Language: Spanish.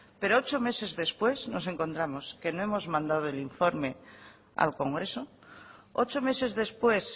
pero ocho meses después nos encontramos que no hemos mandado el informe al congreso ocho meses después